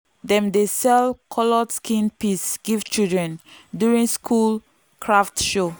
dem dey sell coloured skin piece give children during school craft show.